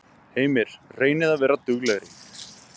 Heimir: Reynið að vera duglegri?